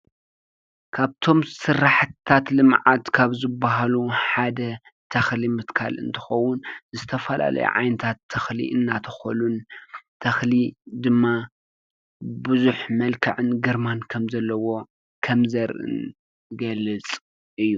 ካብቶም ስራሕትታት ልምዓት ካብ ዝበሃሉ ሓደ ተኽሊ ምትካል እንትኸዉን ዝተፈላለዩ ዓይነታት ተኽሊ እናተኸሉን ተኽሊ ድማ ብዙሕ መልክዕን ግርማን ከም ዘለዎ ከምዘርእን ይገልፅ እዩ።